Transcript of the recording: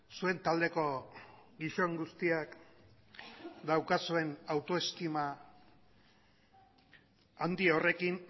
zuen taldeko gizon guztiak daukazuen autoestima handi horrekin